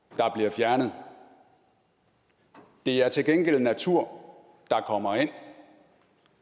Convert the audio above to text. der bliver fjernet det er til gengæld natur der kommer ind